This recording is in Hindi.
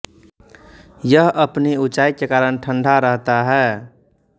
यह अपनी ऊंचाई के कारण ठंडा रहता है